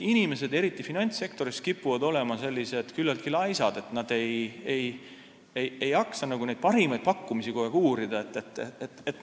Inimesed, eriti finantssektoris, kipuvad olema küllaltki laisad, st nad ei jaksa kogu aeg parimaid pakkumisi uurida.